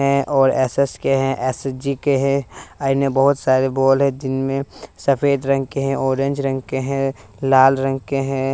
और एस_एस_के हैं एस_जी_के है इनमें बहुत सारे बोर्ड है जिनमें सफेद रंग के हैं ऑरेंज रंग के हैं लाल रंग के हैं।